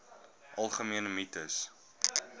algemene mites